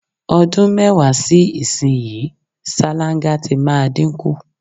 O̩dún mé̩wàá sí ìsinyìí, sáláńgá ti máa dínkù.